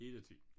Hele tiden